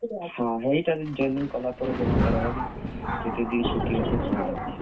ହେଇଟା ତ joining କଲା ପରେ ଜନା ପଡବା କି। ।